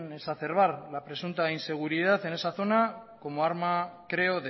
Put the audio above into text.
exacerbar la presunta inseguridad en esa zona como arma creo